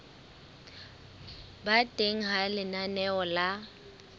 ba teng ha lenaneo la